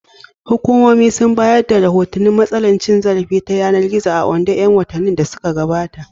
Hukumomi sun bayar da rahotannin matsalar cin zarafi ta yanar gizo a Ondo ƴan watannin da suka gabata.